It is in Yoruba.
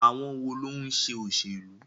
Àwọn wo ló ń ṣe òṣèlú?